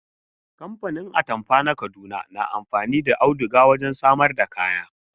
Kamfanin atamfa na Kaduna na amfani da auduga wajen samar da kaya.